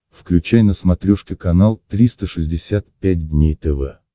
включай на смотрешке канал триста шестьдесят пять дней тв